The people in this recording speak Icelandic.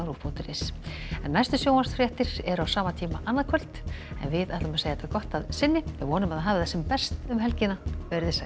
punktur is næstu sjónvarpsfréttir eru á sama tíma annað kvöld en við segjum þetta gott að sinni vonum að þið hafið það sem best um helgina veriði sæl